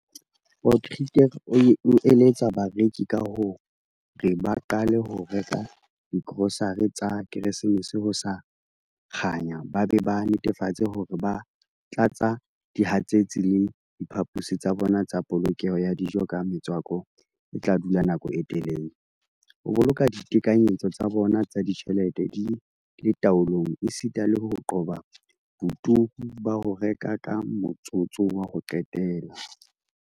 Potgieter o eletsa bareki ka hore ba qale ho reka digrosare tsa Keresemese ho sa kganya ba be ba netefatse hore ba tlatsa dihatsetsi le diphaposi tsa bona tsa polokelo ya dijo ka metswako e tla dula nako e telele, ho boloka ditekanyetso tsa bona tsa ditjhelete di le taolong esita le ho qoba boturu ba ho reka ka motsotso wa ho qetela.